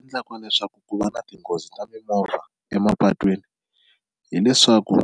Endlaka leswaku ku va na tinghozi ta mimovha emapatwini hileswaku